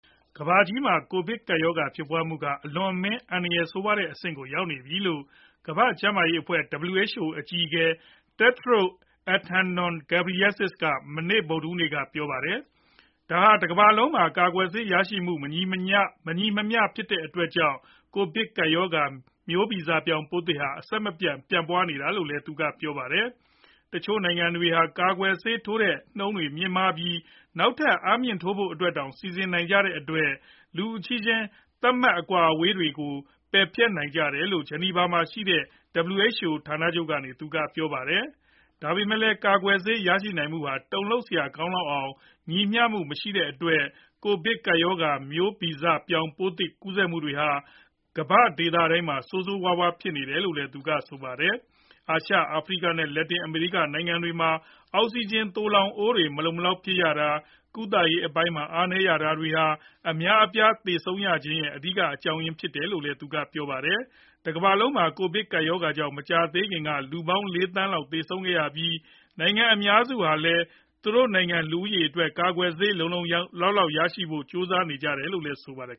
ကမ္ဘာကြီးမှာ ကိုဗစ်ကပ်ရောဂါ ဖြစ်ပွားမှုက အလွန်အမင်း အန္တရာယ်ဆိုးရွားတဲ့ အဆင့်ကို ရောက်နေပြီလို့ ကမ္ဘာ့ကျန်းမာရေးအဖွဲ့ WHO အကြီးအကဲ Tedros Adhanom Ghebreyesus က မနေ့ ဗုဒ္ဓဟူးနေ့ က ပြောပါတယ်။ ဒါဟာ တကမ္ဘာလုံးမှာ ကာကွယ်ဆေးရရှိမှုမှာ မညီမမျှဖြစ်တဲ့အတွက်ကြောင့် ကိုဗစ်ကပ်ရောဂါ မျိုးဗီဇပြောင်း ပိုးသစ်ဟာ အဆက်မပြတ်ပြန့်ပွားနေတာဖြစ်တယ်လို့ သူကပြောပါတယ်။ တချို့နိုင်ငံတွေဟာ ကာကွယ်ဆေး ထိုးတဲ့နှုန်းတွေမြင့်မားပြီး နောက်ထပ် အားမြှင့်ထိုးဖို့အတွက်တောင် စီစဉ်နိုင်ကြတဲ့အတွက် လူအချင်းချင်း သတ်မှတ် အကွာအဝေးထားတာတွေတောင် ပယ်ဖျက်ပေးနေကြတယ်လို့ ဂျီနီဗာ မှာရှိတဲ့ WHO ဌာနချုပ်ကနေ သူကပြောပါတယ်။ ဒါပေမယ့်လည်း ကာကွယ်ဆေး ရရှိနိုင်မှုဟာ တုံလှုပ်စရာကောင်းလောက်အောင် ညီမျှမှုမရှိတဲ့အတွက် ကိုဗစ်ကပ်ရောဂါ မျိုးဗီဇပြောင်းပိုးသစ်တွေ ကူးစက်မှု့တွေဟာ ကမ္ဘာ့ဒေသတိုင်းမှာ ဆိုးဆိုးရွားရွားဖြစ်ပွားလာတယ်လို့ သူကဆိုပါတယ်။ အာရှ၊ အာဖရိက နဲ့ လက်တင် အမေရိက နိုင်ငံတွေမှာ အောက်စီဂျင် သိုလှောင်အိုးတွေ မလုံမလောက်ဖြစ်ရတာ ၊ ကုသရေးအပိုင်းမှာ အားနည်းရတာတွေဟာ အများအပြားသေဆုံးရခြင်းရဲ့ အဓိက အကြောင်းအရင်းဖြစ်တယ်လို့လည်း သူကပြောပါတယ်။ တကမ္ဘာလုံးမှာ ကိုဗစ်ကပ်ရောဂါကြောင့် မကြာသေးခင်က လူပေါင်း ၄ သန်းလောက်သေဆုံးခဲ့ရပြီး နိုင်ငံအများစုဟာလည်း သူတို့နိုင်ငံ လူဦးရေးအတွက် ကာကွယ်ဆေး လုံလုံလောက်လောက်ရဖို့ ကြိုးစားနေကြရတယ်လို့လည်း ဆိုပါတယ်